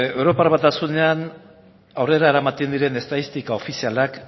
europar batasunean aurrera eramaten diren estatistika ofizialak